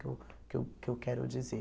Que eu que eu que eu quero dizer.